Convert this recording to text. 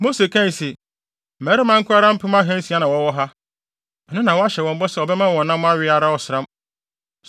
Mose kae se, “Mmarima nko ara mpem ahansia na wɔwɔ ha, ɛno na woahyɛ wɔn bɔ sɛ wobɛma wɔn nam awe ara ɔsram!